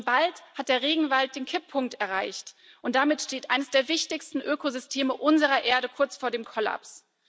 Schon bald hat der Regenwald den Kipppunkt erreicht, und damit steht eines der wichtigsten Ökosysteme unserer Erde kurz vor dem Kollaps.